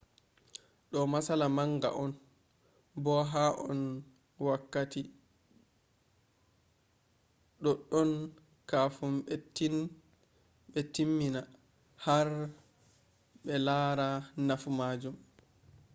do matsala manga on bo hu an wakkati doddon kafun be tin mina har br lara nafu majun